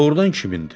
Doğrudan kimindir?